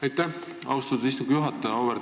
Aitäh, austatud istungi juhataja!